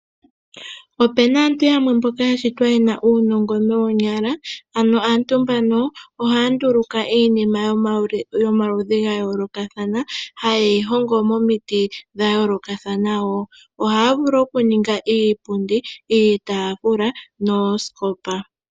Opena aantu yamwe ya shitwa yena uunongo moonyala, ano aantu mbano ohaa nduluka iinima yomaludhi ga yoolokathana hayeyi hongo momiti dha yoolokathana woo ohaa vulu okuninga iipundi ,iitafula noosikopa.